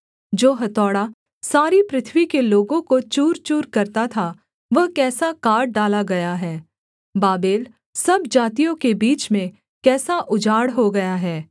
जो हथौड़ा सारी पृथ्वी के लोगों को चूरचूर करता था वह कैसा काट डाला गया है बाबेल सब जातियों के बीच में कैसा उजाड़ हो गया है